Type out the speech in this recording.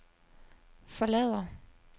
forlader